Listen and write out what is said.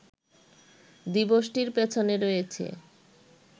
দিবসটির পেছনে রয়েছে